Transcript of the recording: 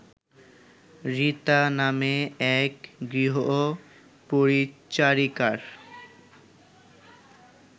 রিতা নামে এক গৃহপরিচারিকার